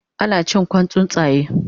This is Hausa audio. Ana cin Kwan tsuntsaye